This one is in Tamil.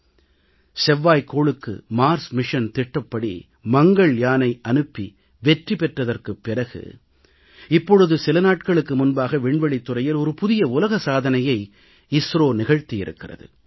செவ்வாய்க் கோளுக்கு செவ்வாய் கிரகத்திற்கு பயணம் மேற்கொள்ளும் திட்டப்படி மங்கள்யானை அனுப்பி வெற்றி பெற்றதற்குப் பிறகு இப்பொழுது சில நாட்களுக்கு முன்பாக விண்வெளித் துறையில் ஒரு புதிய உலக சாதனையை இஸ்ரோ நிகழ்த்தியிருக்கிறது